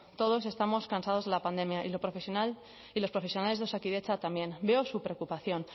todos estamos cansados de la pandemia y los profesionales de osakidetza también veo su preocupación